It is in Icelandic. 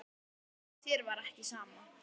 Þér var ekki sama.